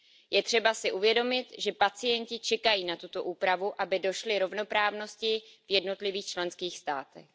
Je třeba si uvědomit, že pacienti čekají na tuto úpravu, aby došli rovnoprávnosti v jednotlivých členských státech.